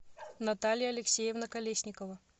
наталья алексеевна колесникова